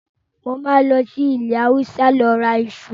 Mo máa lọ sí ilẹ́ Hausa lọ ra iṣu.